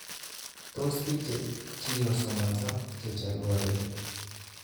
Tos bik ckekikosomoso checholwyokeni